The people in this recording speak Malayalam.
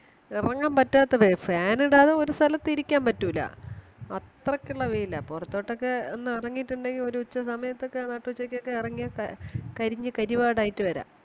എറങ്ങാൻ പറ്റാത്ത വേ Fan ഇടാതെ ഒരു സ്ഥലത്ത് ഇരിക്കാൻ പറ്റൂല അത്രക്കുള്ള വെയില പുറത്തോട്ടൊക്കെ ഒന്നേറങ്ങീട്ടുണ്ടെങ്കിൽ ഒരുച്ച സമയത്തൊക്കെ നട്ടുച്ചയ്ക്കൊക്കെ എറങ്ങിയ എ കരിഞ്ഞ് കറിവാടായിട് വരാം